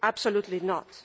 Absolutely not.